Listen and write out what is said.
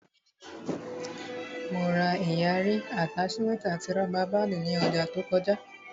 Mo ra ìyarí, àtáṣímẹ́ẹ̀tì àti rọ́bà báàndì ní ọjà to kọjá